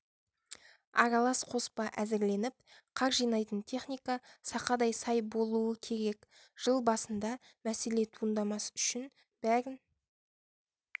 аралас қоспа әзірленіп қар жинайтын техника сақадай-сай болуы керек жыл басында мәселе туындамас үшін бәрін